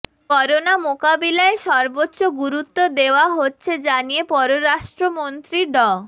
corona মোকাবিলায় সর্বোচ্চ গুরুত্ব দেয়া হচ্ছে জানিয়ে পররাষ্ট্রমন্ত্রী ড